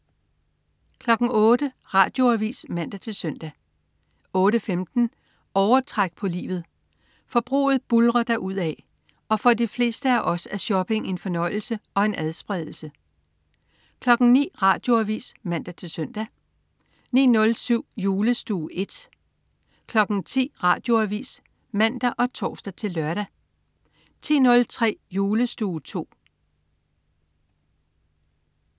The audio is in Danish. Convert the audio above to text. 08.00 Radioavis (man-søn) 08.15 Overtræk på livet. Forbruget buldrer derudad, og for de fleste af os er shopping en fornøjelse og en adspredelse 09.00 Radioavis (man-søn) 09.07 Julestue I 10.00 Radioavis (man og tors-lør) 10.03 Julestue II